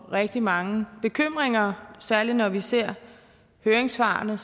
rigtig mange bekymringer særlig når vi ser høringssvarene